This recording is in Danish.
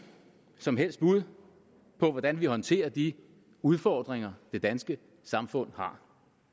som helst bud på hvordan vi håndterer de udfordringer det danske samfund har